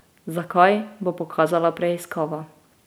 Zakaj, bo pokazala preiskava.